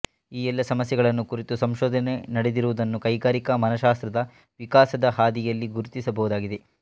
ಈ ಎಲ್ಲ ಸಮಸ್ಯೆಗಳನ್ನೂ ಕುರಿತು ಸಂಶೋಧನೆ ನಡೆದಿರುವುದನ್ನು ಕೈಗಾರಿಕಾ ಮನಶ್ಯಾಸ್ತ್ರದ ವಿಕಾಸದ ಹಾದಿಯಲ್ಲಿ ಗುರುತಿಸಬಹುದಾಗಿದೆ